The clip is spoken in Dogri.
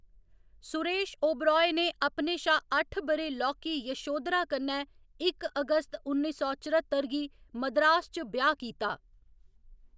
सुरेश ओबेराय ने अपने शा अट्ठ ब'रे लौह्‌‌‌की यशोधरा कन्नै इक अगस्त उन्नी सौ चरत्तर गी मद्रास च ब्याह्‌‌ कीता।